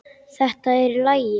Þetta er allt í lagi.